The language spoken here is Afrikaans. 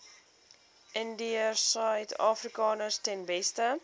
indiërsuidafrikaners ten beste